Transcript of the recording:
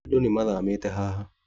Andũ nĩmathamĩte haha